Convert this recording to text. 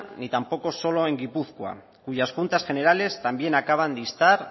ni tampoco solo en gipuzkoa cuyas juntas generales también acaban de instar